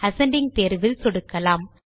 ascending தேர்வில் சொடுக்கலாம்